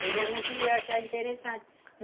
Eu já não queria achar interessante.